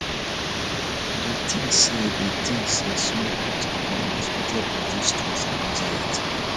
i dey think say dey think say small acts of kindness fit help reduce stress and anxiety